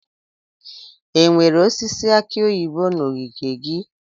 Enwere osisi aki oyibo na ogige gị?